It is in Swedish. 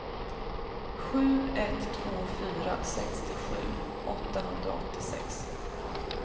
sju ett två fyra sextiosju åttahundraåttiosex